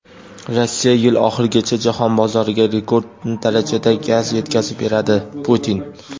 Rossiya yil oxirigacha jahon bozoriga rekord darajada gaz yetkazib beradi – Putin.